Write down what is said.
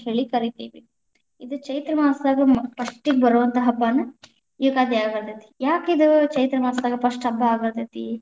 ಅಂತ ಹೇಳಿ ಕರಿತೇವಿ, ಇದ ಚೈತ್ರಮಾಸದಾಗ, ಮೋ first ಗ ಬರುವಂತಹ ಹಬ್ಬಾನ ಯುಗಾದಿ ಅಗಾಂತೇತಿ, ಯಾಕ ಇದ ಚೈತ್ರಮಾಸದಾಗ first ಹಬ್ಬಾ ಆಗಾಂತೇತಿ.